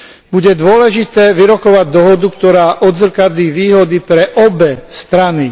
Bude dôležité vyrokovať dohodu, ktorá odzrkadlí výhody pre obe strany.